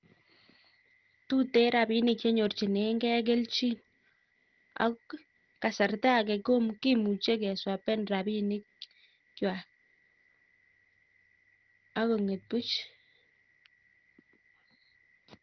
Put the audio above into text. Tuten rabinik chenyorchinengei kelchin ak kasarta age ko kimuche keswapen rabinikwak ak kong'et buch.